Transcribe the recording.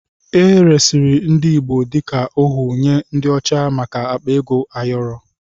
E resịrị ndị Igbo dịka ohu nye ndị ọcha maka akpa ego ayọrọ.